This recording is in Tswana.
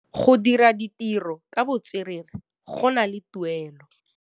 Go dira ditirô ka botswerere go na le tuelô.